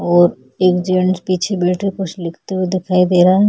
और एक जेन्टस पिछे बैठे कुछ लिखते हुए दिखाई दे रहै है।